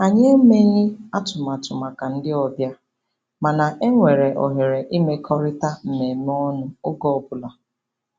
Anyị emeghị atụmatụ maka ndị obịa, mana e nwere ohere imekọrịta mmemme ọnụ oge ọbụla.